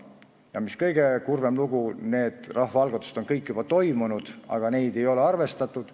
Ja mis kõige kurvem: seal on need rahvaalgatused kõik juba olnud, aga neid ei ole arvestatud.